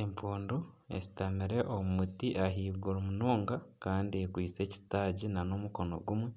Empundu eshutamire omu muti ahaiguru munonga kandi ekwaitse ekitaagi nana omukono gumwe.